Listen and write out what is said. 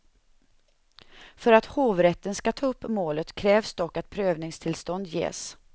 För att hovrätten ska ta upp målet krävs dock att prövningstillstånd ges.